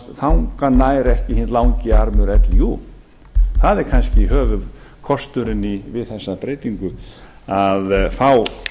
þangað nær ekki hinn langi armur líú það er kannski höfuðkosturinn við þessa breytingu að fá